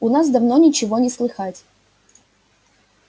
у нас давно ничего не слыхать